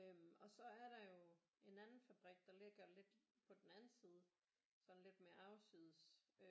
Øh og så er der jo en anden fabrik der ligger lidt på den anden side sådan lidt mere afsides